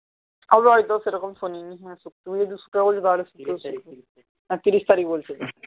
হবে হয়তো সেরকম শুনিনি তিরিশ তারিখ বলছে